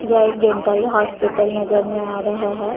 यह एक dental hospital नजर में आ रहा है।